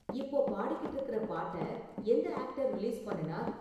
இப்போ பாடிக்கிட்டு இருக்குற பாட்ட எந்த ஆக்டர் ரிலீஸ் பண்ணுனார்